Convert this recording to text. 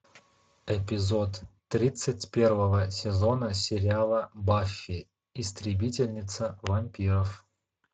эпизод тридцать первого сезона сериала баффи истребительница вампиров